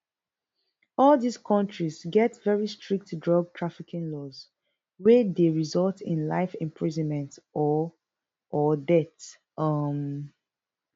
all dis kontis get very strict drug trafficking laws wey dey result in life imprisonment or or death um